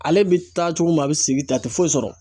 Ale bɛ taa cogo min na , a bɛ sigi ten , a tɛ foyi sɔrɔ.